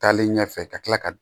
Taalen ɲɛfɛ ka tila ka